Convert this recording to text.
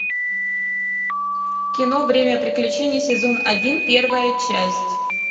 кино время приключений сезон один первая часть